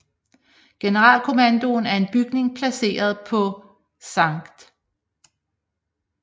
Generalkommandoen er en bygning placeret på Sct